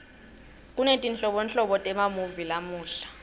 kunetinhlobonhlobo temamuvi lamuhla